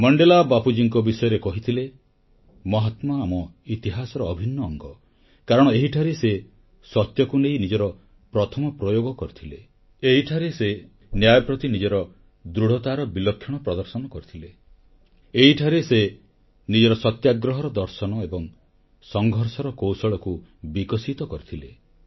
Mandela ଥରେ ବାପୁଜୀଙ୍କ ବିଷୟରେ କହିଥିଲେ ମହାତ୍ମା ଆମ ଇତିହାସର ଅଭିନ୍ନ ଅଙ୍ଗ କାରଣ ଏହିଠାରେ ସେ ସତ୍ୟକୁ ନେଇ ନିଜର ପ୍ରଥମ ପ୍ରୟୋଗ କରିଥିଲେ ଏହିଠାରେ ସେ ନ୍ୟାୟପ୍ରତି ନିଜର ଦୃଢ଼ତାର ବିଲକ୍ଷଣ ପ୍ରଦର୍ଶନ କରିଥିଲେ ଏହିଠାରେ ସେ ନିଜର ସତ୍ୟାଗ୍ରହର ଦର୍ଶନ ଏବଂ ସଂଘର୍ଷର କୌଶଳକୁ ବିକଶିତ କରିଥିଲେ